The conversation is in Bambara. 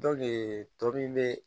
tɔ min bɛ